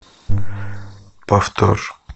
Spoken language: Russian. повтор